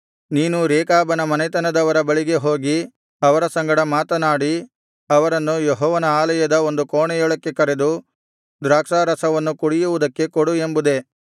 ನೀನು ರೇಕಾಬನ ಮನೆತನದವರ ಬಳಿಗೆ ಹೋಗಿ ಅವರ ಸಂಗಡ ಮಾತನಾಡಿ ಅವರನ್ನು ಯೆಹೋವನ ಆಲಯದ ಒಂದು ಕೋಣೆಯೊಳಕ್ಕೆ ಕರೆದು ದ್ರಾಕ್ಷಾರಸವನ್ನು ಕುಡಿಯುವುದಕ್ಕೆ ಕೊಡು ಎಂಬುದೇ